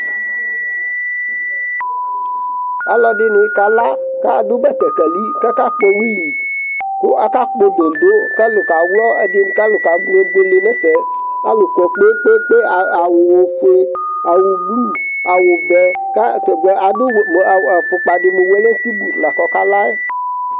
aluɛdɩnɩ kala, kʊ atanɩ adʊ betekeli kʊ akakpɔ wili, kʊ akakpɔ dõdõ, kʊ alʊ kaɣlɔ, kʊ alʊ kebuele nʊ ɛfɛ, alʊ kɔ poo, atanɩ adʊ awu fue, blu, nʊ ɔvɛ, kʊ atanɩ adʊ ɛlɛnuti mʊ welẽntibu la kakala yɛ